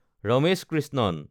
Ramesh Krishnan